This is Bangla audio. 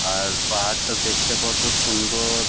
আর পাহাড়টা দেখতে কতো সুন্দ-অ-র।